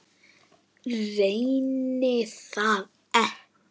Reyni það ekki.